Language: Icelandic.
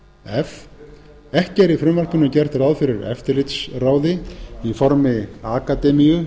f ekki er í frumvarpinu gert ráð fyrir eftirlitsráði til dæmis í formi akademíu